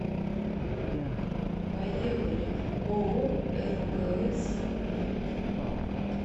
поехали ооо ргс мед